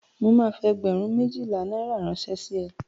Mo máa fi ẹgbẹ̀rún méjìlá náírà ránṣẹ́ sí ẹ.